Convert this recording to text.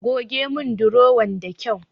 Goge mun durowan da kyau.